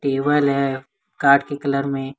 Table है के colour में।